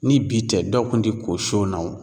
Ni bi tɛ, dɔw kun ti ko son na wo.